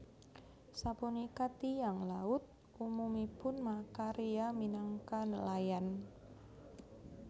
Sapunika tiyang laut umumipun makarya minangka nelayan